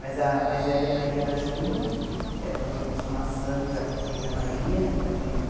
Mas a mais velha é Maria da Ajuda, é o nome de uma santa que tem na Bahia, minha mãe é...